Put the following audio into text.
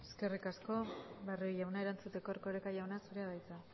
eskerrik asko barrio jauna erantzuteko erkoreka jauna zurea da hitza